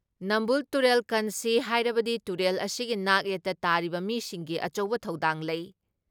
ꯅꯝꯕꯨꯜ ꯇꯨꯔꯦꯜ ꯀꯟꯁꯤ ꯍꯥꯏꯔꯕꯗꯤ ꯇꯨꯔꯦꯜ ꯑꯁꯤꯒꯤ ꯅꯥꯛ ꯌꯦꯠꯇ ꯇꯥꯔꯤꯕ ꯃꯤꯁꯤꯡꯒꯤ ꯑꯆꯧꯕ ꯊꯧꯗꯥꯡ ꯂꯩ ꯫